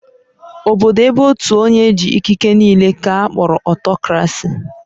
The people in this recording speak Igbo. Obodo ébé ótù onye jị̀ ikiké n'ile ka a kpọrọ Ọtọkrasị